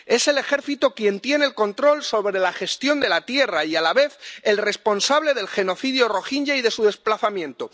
Es el ejército quien tiene el control sobre la gestión de la tierra y es, a la vez, el responsable del genocidio rohinyá y de su desplazamiento.